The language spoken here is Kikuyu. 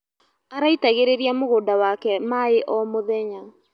Araitagĩrĩria mũgũnda wake maĩ o mũthenya.